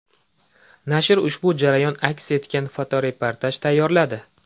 Nashr ushbu jarayon aks etgan fotoreportaj tayyorladi.